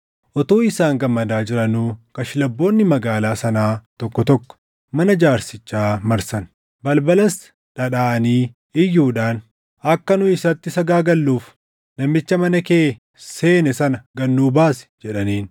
Utuu isaan gammadaa jiranuu kashlabboonni magaalaa sanaa tokko tokko mana jaarsichaa marsan. Balbalas dhadhaʼanii iyyuudhaan, “Akka nu isatti sagaagalluuf namicha mana kee seene sana gad nuu baasi” jedhaniin.